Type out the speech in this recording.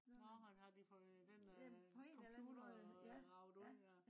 nå øh har de fået den computer øh ravet ud ja